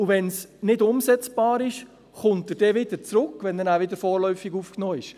Und falls es nicht umsetzbar ist, kommt er wieder zurück, wenn er danach wieder vorläufig aufgenommen ist?